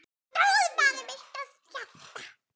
Stór maður með stórt hjarta.